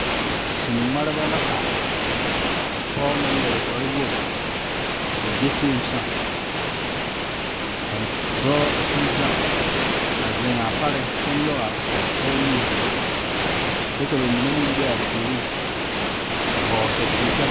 Saɛmaaleba la are ka pɔge naŋ yeere kpare wogi ko'o gbɛkpoŋ saa ka dɔɔ a sige gaŋ a zeŋ a pare kyɛ nyoŋ a pɔge nu kyɛ ka bamine meŋ be a puori a vɔgle sapele kyɛ la.